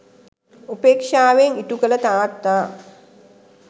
උපේක්ෂාවෙන් ඉටු කළ තාත්තා